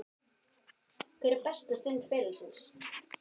Hver er besta stund ferilsins?